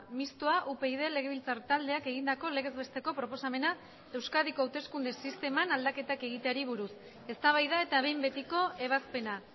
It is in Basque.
mistoa upyd legebiltzar taldeak egindako legez besteko proposamena euskadiko hauteskunde sisteman aldaketak egiteari buruz eztabaida eta behin betiko ebazpena